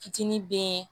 Fitinin be